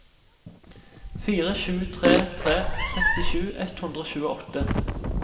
fire sju tre tre sekstisju ett hundre og tjueåtte